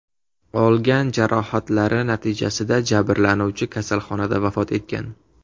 Olgan jarohatlari natijasida jabrlanuvchi kasalxonada vafot etgan.